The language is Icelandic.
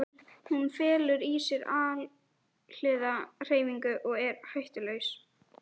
Hún felur í sér alhliða hreyfingu og er hættulaus.